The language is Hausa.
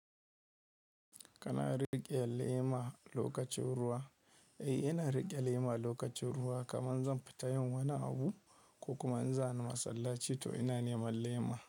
Kana riƙe lema lokacin ruwa, eh ina riƙe lema lokacin ruwa kaman zan fita yin wani abu ko kuma in zani masallaci to ina neman lema.